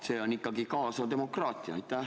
See on ikkagi kaasav demokraatia.